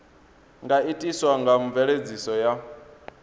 nga itiswa nga mveledziso ya